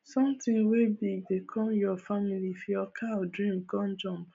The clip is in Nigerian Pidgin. sonthing wey big dey com your family if your cow dream con jump